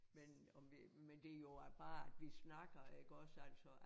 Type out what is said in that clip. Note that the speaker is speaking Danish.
Men om vi men det jo at bare at vi snakker iggås altså